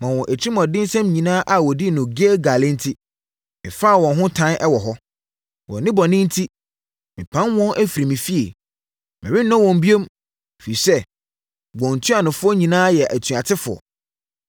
“Wɔn atirimuɔdensɛm nyinaa a wɔdii wɔ Gilgal enti, mefaa wɔn ho tan wɔ hɔ. Wɔn nnebɔne enti mɛpam wɔn afiri me fie. Merennɔ wɔn bio; ɛfiri sɛ wɔn ntuanofoɔ nyinaa yɛ atuatefoɔ.